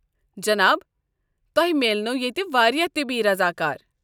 جناب، تۄہہ میلنَوٕ ییٚتہ واریاہ طبی رضاکار۔